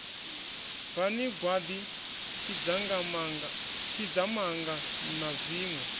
bvani gwaḓi tshidzamanga na zwiṋwe